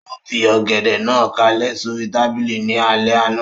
Ó fi Ọ̀gẹ̀dẹ̀ náà kálẹ̀ sóri tábìlì ní alẹ́ àná